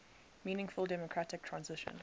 meaningful democratic transition